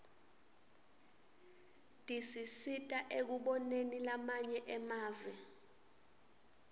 tisisita ekuboneni lamanye emave